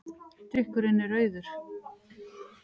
Drykkurinn er rauður.